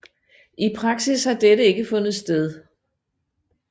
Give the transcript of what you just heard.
I praksis har dette ikke fundet sted